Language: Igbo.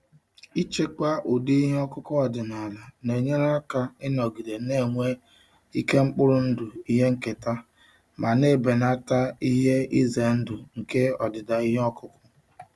Ichekwa ụdị ihe ọkụkụ ọdịnala na-enyere aka ịnọgide na-enwe ike mkpụrụ ndụ ihe nketa ma na-ebelata ihe ize ndụ nke ọdịda ihe ọkụkụ.